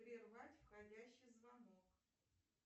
прервать входящий звонок